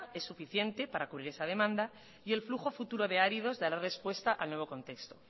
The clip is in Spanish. es suficiente para cubrir esa demanda y el flujo futuro de áridos dará respuesta al nuevo contesto